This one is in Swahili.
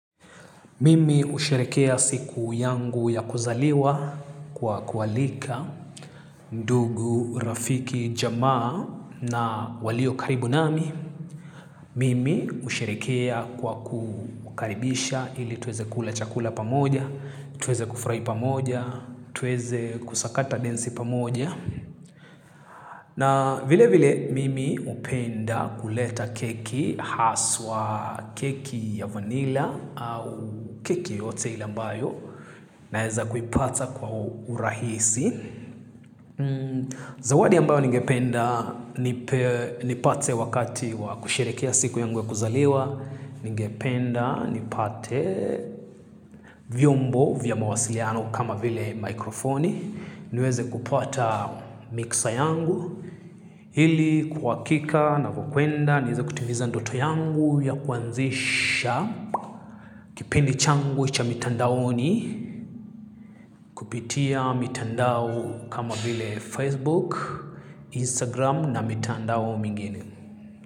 Mimi husherekea siku yangu ya kuzaliwa kwa kualika mdugu rafiki jamaa na walio karibu nami. Mimi husherikea kwa kukaribisha ili tuweze kula chakula pamoja, tuweze kufurahi pamoja, tuweze kusakata densi pamoja. Na vile vile mimi upenda kuleta keki haswa keki ya vanila au keki yote ile ambayo na weza kuipata kwa urahisi. Zawadi ambayo ngependa nipate wakati wa kusherekea siku yangu ya kuzaliwa. Ngependa nipate vyombo vya mawasiliano kama vile mikrofoni. Niweze kupata mixa yangu ili kuwakika na kukwenda niweze kutiviza ndoto yangu ya kuanzisha kipendi changu cha mitandaoni kupitia mitandao kama vile Facebook Instagram na mitandao mingine.